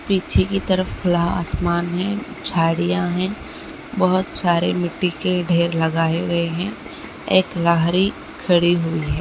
पीछे की तरफ खुला आसमान है झड़िया है बहोत सारे मिट्टी के ढेर लगाया गया है एक लहरी खड़ी हुई है।